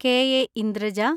K.A.. Indraja,